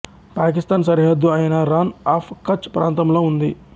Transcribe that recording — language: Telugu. పాకిస్థాన్ సరిహద్దు అయిన రాణ్ ఆఫ్ కచ్ ప్రాంతంలో ఉంది